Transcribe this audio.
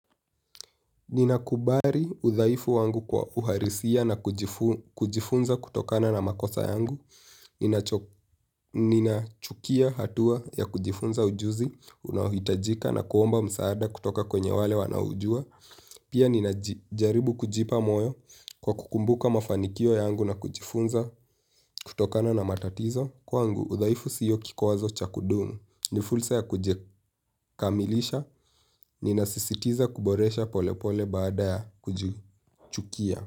Ninakumbali udhaifu wangu kwa uhalisia na kujifu kujifunza kutokana na makosa yangu inacho. Ninachukia hatua ya kujifunza ujuzi, unaohitajika na kuomba msaada kutoka kwenye wale wanaoujua. Pia ninajijaribu kujipa moyo kwa kukumbuka mafanikio yangu na kujifunza kutokana na matatizo. Kwa ngu udhaifu sio kikwazo chakudumu. Ni fursa ya kujikamilisha ni nasisitiza kuboresha polepole baada ya kujichukia.